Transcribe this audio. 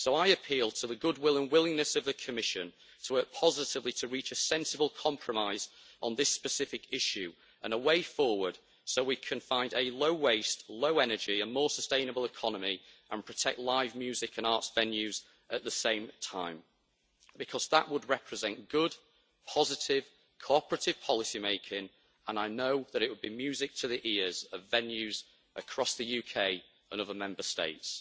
So I appeal to the goodwill and willingness of the Commission to work positively to reach a sensible compromise on this specific issue, and a way forward, so we can find a low waste, low energy and more sustainable economy and protect live music and arts venues at the same time, because that would represent good, positive, cooperative policymaking and I know that it would be music to the ears of venues across the UK and other Member States.